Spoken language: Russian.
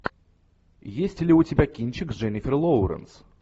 есть ли у тебя кинчик с дженнифер лоуренс